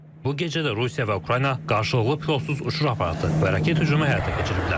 Bu gecə də Rusiya və Ukrayna qarşılıqlı pilotsuz uçuş aparatı və raket hücumu həyata keçiriblər.